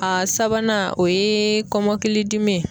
A sabanan o ye kɔmɔkili dimi ye